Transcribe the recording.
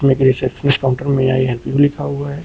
एक receptionist counter पर may I help you लिखा हुआ है।